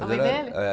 A mãe dele?